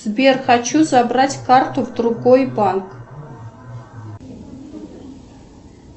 сбер хочу забрать карту в другой банк